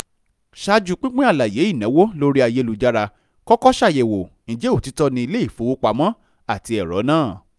ṣáájú pínpín àlàyé ìnáwó lórí ayélujára kọ́kọ́ ṣàyẹ̀wò ìjẹ́ òtítọ́ ilé-ìfowopamọ́ ati ẹ̀rọ́ náà